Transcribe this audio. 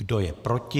Kdo je proti?